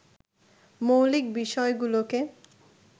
মৌলিক বিষয়গুলোকে